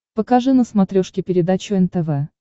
покажи на смотрешке передачу нтв